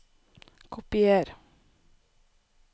Kopier